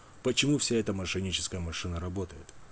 почему вся эта мошенническая машина работает